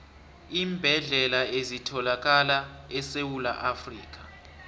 iimbedlela ezithalakala esewula afrikha